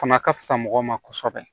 Fana ka fisa mɔgɔw ma kosɛbɛ